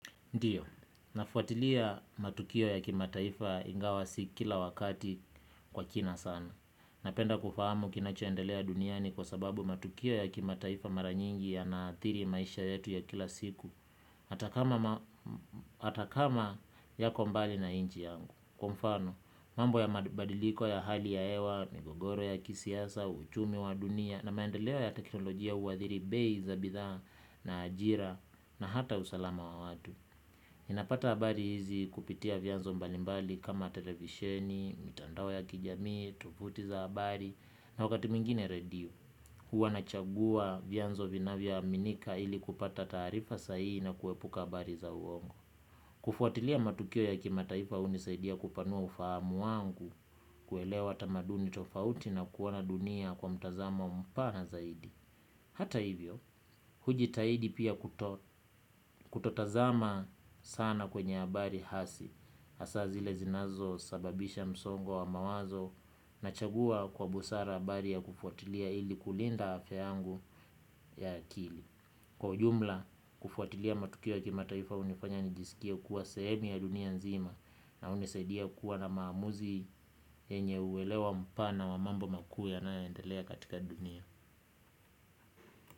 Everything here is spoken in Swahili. Ndiyo, nafuatilia matukio ya kimataifa ingawa si kila wakati kwa kina sana. Napenda kufahamu kinachoendelea duniani kwa sababu matukio ya kimataifa mara nyingi yanaathiri maisha yetu ya kila siku. Hata kama yako mbali na nchi yangu. Kwa mfano, mambo ya mabadiliko ya hali ya hewa, migogoro ya kisiasa, uchumi wa dunia na maendeleo ya teknolojia huathiri bei za bidhaa na ajira na hata usalama wa watu. Ninapata habari hizi kupitia vyanzo mbalimbali kama televisheni, mitandao ya kijamii, tovuti za habari na wakati mwengine redio. Huwa nachagua vianzo vinavyoaminika ili kupata taarifa sahihi na kuepuka habari za uongo. Kufuatilia matukio ya kimataifa hunisaidia kupanua ufahamu wangu kuelewa tamaduni tofauti na kuona dunia kwa mtazamo mpana zaidi. Hata hivyo, hujitahidi pia kutotazama sana kwenye habari hasi hasa zile zinazosababisha msongo wa mawazo. Nachagua kwa busara habari ya kufuatilia ili kulinda afya yangu ya akili. Kwa ujumla, kufuatilia matukio ya kimataifa hunifanya nijisikie kuwa sehemu ya dunia nzima. Na hunisaidia kuwa na maamuzi yenye uelewa mpana wa mambo makuu yanayoendelea katika dunia.